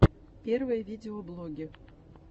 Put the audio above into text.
первые видеоблоги